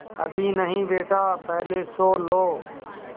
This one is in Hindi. अभी नहीं बेटा पहले सो लो